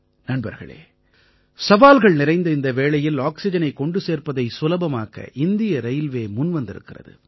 நண்பர்களே சவால்கள் நிறைந்த இந்த வேளையில் ஆக்சிஜனைக் கொண்டு சேர்ப்பதை சுலபமாக்க இந்திய ரயில்வே முன்வந்திருக்கிறது